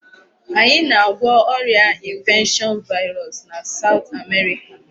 Anyị na-agwọ ọrịa infection virus na South America.